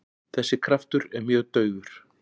Þessi kraftur er mjög daufur.